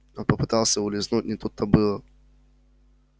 он попытался улизнуть не тут-то было